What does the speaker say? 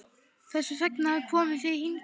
Þess vegna komum við hingað.